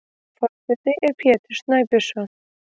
Forseti er Pétur Snæbjörnsson.